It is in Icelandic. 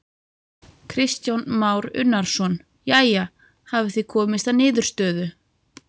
Kristján Már Unnarsson: Jæja, hafið þið komist að niðurstöðu?